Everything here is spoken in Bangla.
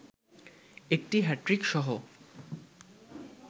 একটি হ্যাট্রিকসহ